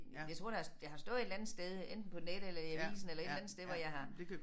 Jeg tror det har det har stået et eller andet sted enten på nettet eller i avisen eller et eller andet sted hvor jeg har